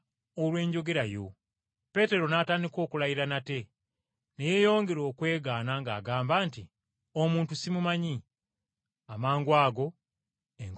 Peetero n’atandika okulayira nate, ne yeeyongera okwegaana ng’agamba nti, “Omuntu simumanyi.” Amangwago enkoko n’ekookolima.